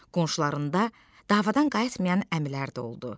Qonşularında davadan qayıtmayan əmilər də oldu.